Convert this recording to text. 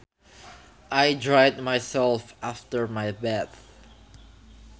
I dried myself after my bath